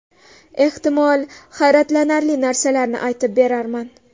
Ehtimol, hayratlanarli narsalarni aytib berarman.